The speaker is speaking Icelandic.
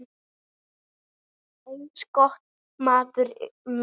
Eins gott, maður minn